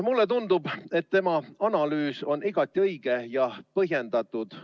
Mulle tundub, et tema analüüs on igati õige ja põhjendatud.